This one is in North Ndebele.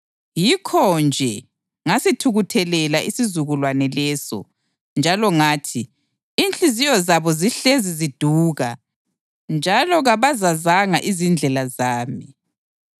Yikho-nje ngasithukuthelela isizukulwane leso, njalo ngathi, ‘Inhliziyo zabo zihlezi ziduka, njalo kabazazanga izindlela zami.’